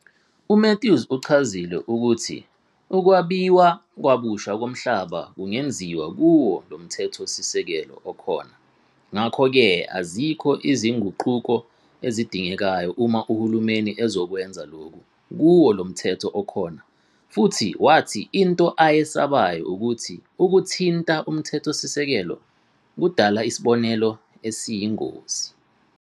UMathews uchazile ukuthi ukwabiwa kabusha komhlaba kungeziwa kuwo lomthethosisekelo okhona ngakho ke azikho izinguquko ezidingekayo uma uhulumeni ezokwenza lokhu kuwo lo mthetho okhona futhi wathi into ayesabayo ukuthi ukuthinta uMthethosisekelo kudala isibonelo esiyingozi.